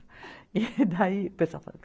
E daí o pessoal fala